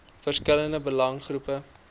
verskillende belange groepe